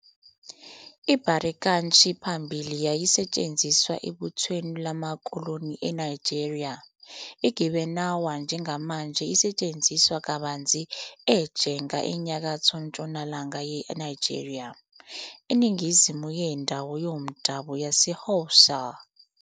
IBarikanchi phambilini yayisetshenziswa ebuthweni lamakoloni eNigeria. IGibanawa njengamanje isetshenziswa kabanzi eJega enyakatho ntshonalanga yeNigeria, eningizimu yendawo yomdabu yaseHausa.